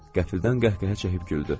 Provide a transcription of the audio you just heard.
Qəfildən qəhqəhə çəkib güldü.